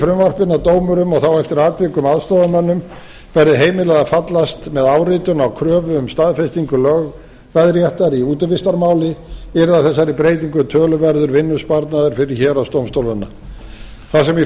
frumvarpinu að dómurum og þá eftir atvikum aðstoðarmönnum verði heimilað að fallast með áritun á kröfu um staðfestingu lögveðréttar í útivistarmáli yrði af þessari breytingu töluverður vinnusparnaður fyrir héraðsdómstólana þar sem í